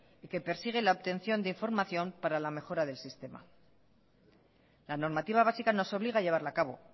y que persigue la obtención de información para la mejora del sistema la normativa básica nos obliga a llevarla a cabo